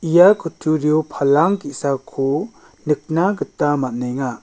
ia kutturio palang ge·sako nikna gita man·enga.